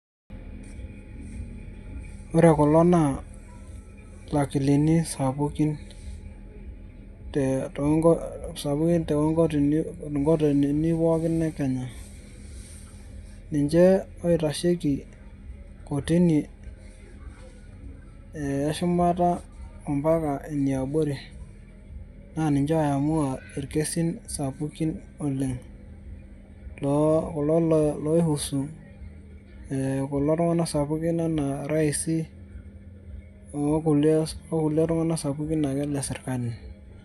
Ore kulo naa lakilini sapukin te tonko sapukin tonkoti tonkotinini pookin ekenya, ninche oitasheki kotini ee eshumata ampaka eniabori ,na ninche oiamua irkesin sapukin oleng lo kulo laihusu ee ltunganak sapukin anaa raisi okulie tunganak sapukin le serkali.